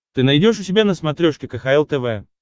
ты найдешь у себя на смотрешке кхл тв